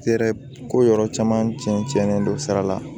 Yɛrɛ ko yɔrɔ caman tiɲɛ tiɲɛ don sira la